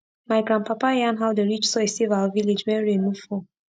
my grandpapa yarn how the rich soil save our village when rain no fall